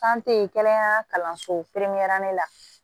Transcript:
kɛnɛya kalanso kɛrɛnkɛrɛnnen la